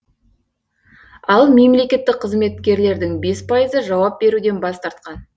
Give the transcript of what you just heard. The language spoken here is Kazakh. ал мемлекеттік қызметкерлердің бес пайызы жауап беруден бас тартқан